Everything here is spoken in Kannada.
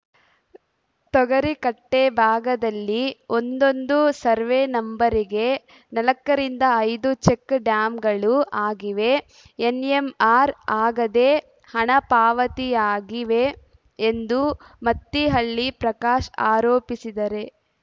ತೊಗರಿಕಟ್ಟೆಭಾಗದಲ್ಲಿ ಒಂದೊಂದು ಸರ್ವೆ ನಂಬರಿಗೆ ನಾಲ್ಕರಿಂದ ಐದು ಚೆಕ್‌ ಡ್ಯಾಂಗಳು ಆಗಿವೆ ಎನ್‌ಎಂಆರ್‌ ಆಗದೇ ಹಣ ಪಾವತಿಯಾಗಿವೆ ಎಂದು ಮತ್ತಿಹಳ್ಳಿ ಪ್ರಕಾಶ್‌ ಆರೋಪಿಸಿದರೆ